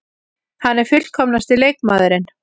Hann er fullkomnasti leikmaðurinn.